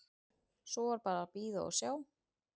Svo var bara að bíða og sjá.